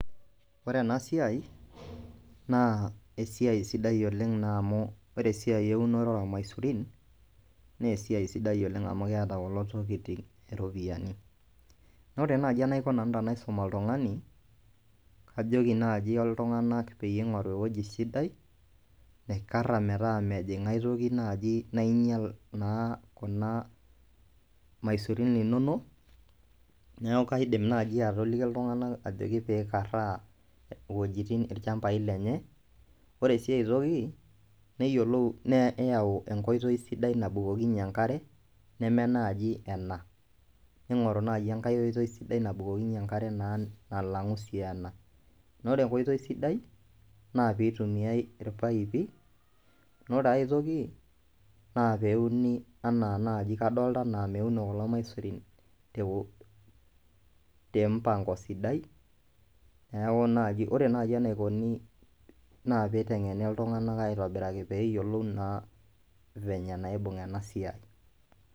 Ore ena siai naa esiai sidai oleng' naa amu ore siai eunore oormaisurin nee esiai sidai oleng' amu keeta kulo tokitin iropiani. Naa ore naaji enaiko nanu tenaisum oltung'ani, kajoki naaji iltung'anak peyie ing'oru ewueji sidai naikara metaa mejing' aitoki naaji nainyal naa kuna maisurin inonok, neeku kaidim naaji atoliki iltung'anak ajoki piikaraa iwojitin ilchambai lenye. Ore sii ai toki, neyiolou neyau enkoitoi sidai nabukokinye enkare neme naaji ena ning'oru nai enkoitoi sidai nabukokinye enkare naa nalang'u sii ena naa ore enkoitoi sidai naa piitumiai irpaipi. Naa ore ai toki naa peuni enaa naaji kadolta enaa meuno kulo maisurin te wo te mpang'o sidai, neeku naaji ore nai enaikoni naa piiteng'eni iltung'anak aitobiraki peeyolou naa venye naibung' ena siai.